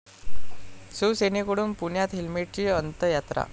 शिवसेनेकडून पुण्यात हेल्मेटची अंत्ययात्रा